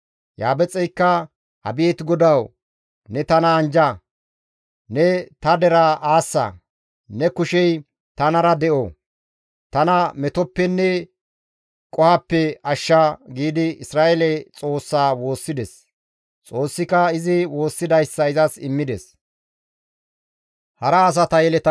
Yabeexeykka, «Abeet Godawu! Ne tana anjja; ne ta deraa aassa; ne kushey tanara de7o; tana metoppenne qohoppe ashsha» giidi Isra7eele Xoossaa woossides; Xoossika izi woossidayssa izas immides.